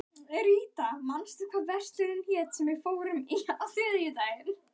Ríta, manstu hvað verslunin hét sem við fórum í á þriðjudaginn?